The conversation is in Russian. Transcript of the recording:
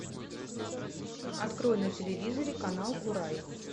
открой на телевизоре канал курай